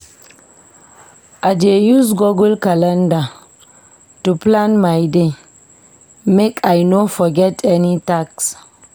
I dey use Google calender to plan my day make I no forget any task.